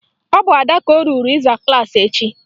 Ọ bụ Ada ka o ruru ịza klaasị echi